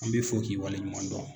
An b'i fo k'i waleɲuman dɔn.